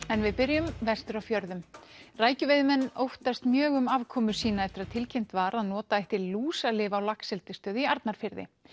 en við byrjum vestur á fjörðum óttast mjög um afkomu sína eftir að tilkynnt var að nota ætti lúsalyf á laxeldisstöð í Arnarfirði